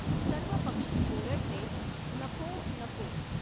सर्व पक्षी ऒरडले, नको नको!